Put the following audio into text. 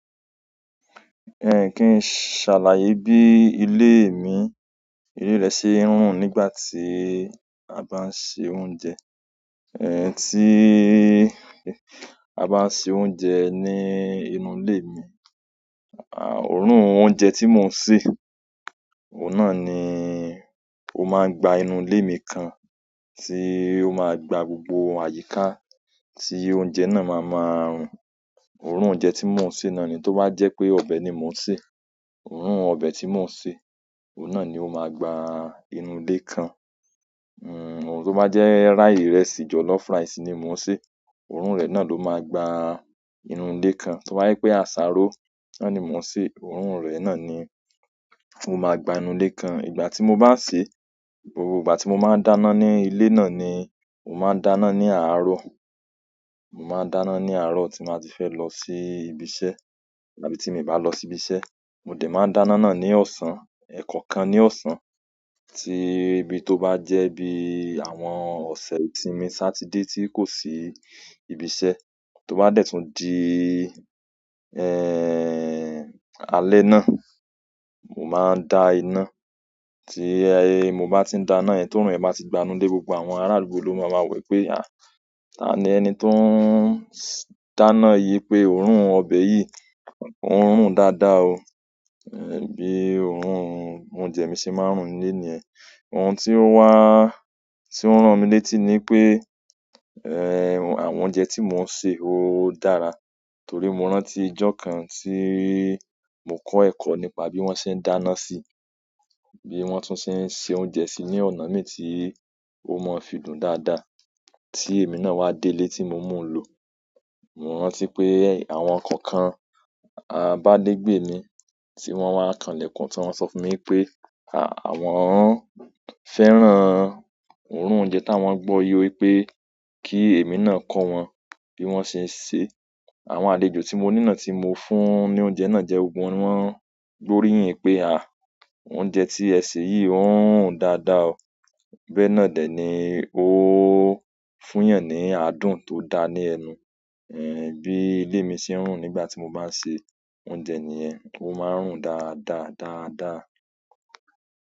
Ẹhn, kín ṣàlàyé bí ilé mi, ilé rẹ ṣe ń rùn nígbà tí a bá ń ṣe oúnjẹ. Ẹ tí a bá ń ṣe oúnjẹ ní inú ilé mi, òórùn oúnjẹ tí mò ń sè, òun náà ni ó máa gba inú ilé mi kan, tí ó máa gba gbogbo àyíká tí oúnjẹ náà máa máa rùn. Òórùn oúnjẹ tí mò ń sè náà ni tó bá jẹ́ pé ọbẹ̀ ni mò ń sè, òórùn ọbẹ̀ tí mò ń sè, òun náà ni ó máa gba inú ilé kan. Ṣùgbọ́n tó bá jẹ́ ìrẹsì, jollof rice ni mò ń sè, òórùn rẹ̀ náà ló máa gba inú ilé kan. Tó bá jẹ́ pé àsáró náà ni mò ń sè, òórùn rẹ̀ náà ni ó máa gba inú ilé kan. Ìgbà tí mo bá ń sè, gbogbo ìgbà tí mo bá ń dáná ní ilé náà ni, mo máa ń dáná ní àárọ̀. Mo máa ń dáná ní àárọ̀ tí màá ti fẹ́ lọ sí ibi iṣẹ́, àbí tí mi ò bá lọ sí ibi iṣẹ́, mo dẹ̀ máa ń dáná náà ní ọ̀sán. Ẹ̀ẹ̀kọkan ní ọ̀sán tí bí tó bá jẹ́ bí àwọn ọ̀sẹ̀ ìtìmi Saturday tí kò sí ibi iṣẹ́, tó bá dẹ̀ tún di, alẹ́ náà, mo máa ń da iná. Tí mo bá ti ń dáná yen, tóorun rẹ̀ báa ti gba inú ilé gbogbo àwọn ará àdúgbò ló máa ma wo wipé, "àh! Taani ẹni tó ń dáná yìí pé òórùn ọbẹ̀ yìí o ń rùn dáadáa o." bí òórùn oúnjẹ mi ṣe máa ń rùn níle niyen. Ohun tí ó wá, tí ó rán mi létí ni pé, àwọn oúnjẹ tí mò ń se ó dára, torí mo rántí ọjọ́ kan tí mo kọ́ ẹ̀kọ́ nípa bí wón ṣe ń dáná sí, bí wón tún ṣe ń se oúnjẹ sí ní ọ̀nà mẹ́ta tí ó mọ fidùn dáadáa. Tí èmi náà wá délé tí mo mú lọ, mo rántí pé àwọn kankan, abálégbè mi tí wọ́n máa ń kan lẹ̀kùn tí wọ́n sọ fún mi pé, "à, àwọn fẹ́ràn òórùn oúnjẹ táwọn gbó yi wipé kí èmi náà kọ́ wọn bí wón ṣe ń ṣe." Awon àlejò ti mo ni náà ti mo fún ni ouje náà je, gbogbo won ni won gbe oriyin wípé ah! Ouje ti e se yi o, oun run daada oo bẹ̀ náà dẹ̀ ni ó fún eeyàn ní aadùn tó da ní ẹnu. Bí ile mi ṣe ń rùn nígbà tí mo bá ń ṣe oúnjẹ nìyẹn, ó máa ń rùn dáadáa, dáadáa.